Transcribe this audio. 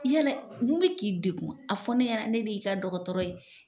Yalɛ mun bɛ k'i degun a fɔ ne ɲɛnɛ ne de y'i ka dɔgɔtɔrɔ ye.